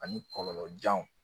Ani kɔlɔlɔjanw